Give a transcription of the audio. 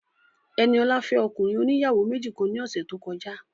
Ẹniọlá fẹ́ ọkùnrin oníyàwó méjì kan ní ọ̀sẹ̀ tó kọjá